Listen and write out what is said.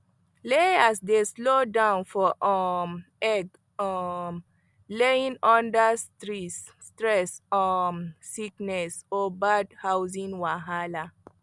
layers dey slow down for um egg um laying under stress um sickness or bad housing wahala